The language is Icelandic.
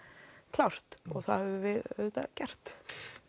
klárt og það höfum við auðvitað gert